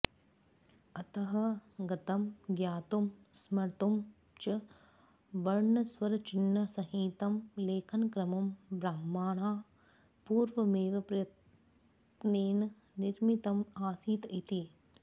अतः गतं ज्ञातुं स्मर्तुं च वर्णस्वरचिह्नसहितं लेखनक्रमं ब्रह्मणा पूर्वमेव प्रयत्नेन् निर्मितम् आसीत् इति